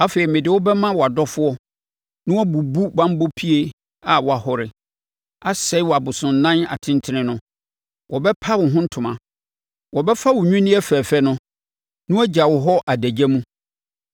Afei, mede wo bɛma wʼadɔfoɔ na wɔbɛbubu banbɔ pie a woahɔre, asɛe abosonnan atentene no. Wɔbɛpa wo ho ntoma. Wɔbɛfa wo nnwinneɛ fɛfɛ no, na wagya wo hɔ adagya mu.